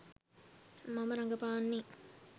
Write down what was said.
මම රඟපාන්නේ